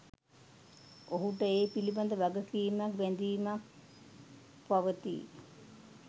ඔහුට ඒ පිළිබඳ වගකීමක්, බැඳීමක් පවතියි.